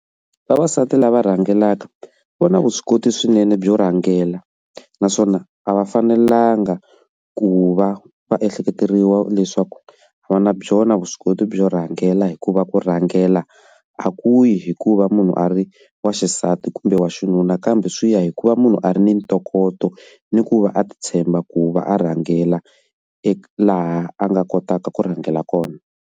Vavasati lava rhangelaka vona vuswikoti swinene byo rhangela naswona a va fanelanga ku va va ehleketeleriwa leswaku a va na byona vuswikoti byo rhangela hikuva ku rhangela a ku hikuva munhu a ri wa xisati kumbe wa xinuna kambe swi ya hikuva munhu a ri ni ntokoto ni ku va a ti tshemba ku va a rhangela e laha a nga kotaka ku rhangela kona.